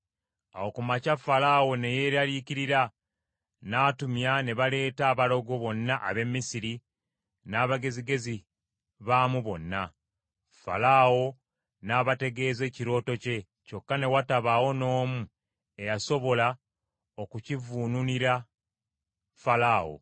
Awo ku makya Falaawo ne yeeraliikirira; n’atumya ne baleeta abalogo bonna ab’e Misiri, n’abagezigezi baamu bonna; Falaawo n’abategeeza ekirooto kye, kyokka ne watabaawo n’omu eyasobola okukivvuunulira Falaawo.